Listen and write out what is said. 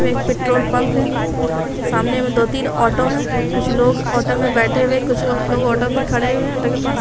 एक petrol pump है सामने मे दो तीन ऑटो है कुछ लोग ऑटो मे बैठे हुए कुछ लोग ऑटो मे खड़े हुए है ऑटो के पास।